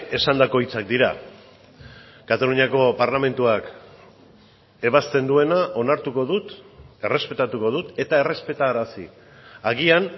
esandako hitzak dira kataluniako parlamentuak ebazten duena onartuko dut errespetatuko dut eta errespetarazi agian